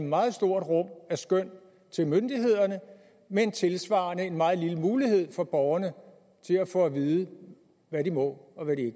meget stort rum af skøn til myndighederne men tilsvarende en meget lille mulighed for borgerne til at få at vide hvad de må og hvad de